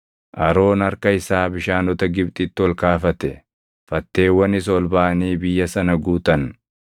Aroon harka isaa bishaanota Gibxitti ol kaafate; fatteewwanis ol baʼanii biyya sana guutan.